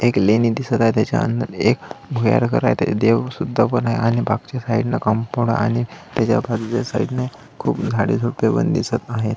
एक लेणी दिसत आहे त्याच्या अंदर एक देव सुद्धा पण आहे आणि त्याच्या मागच्या साइड ला कंपाऊंड आणि त्याच्या खालच्या साइड ने खूप झाडे झुडपे पण दिसत आहेत.